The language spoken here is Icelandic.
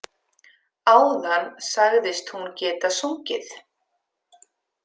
Áðan sagðist hún geta sungið.